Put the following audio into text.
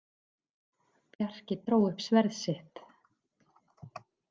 Bjarki dró upp sverð sitt.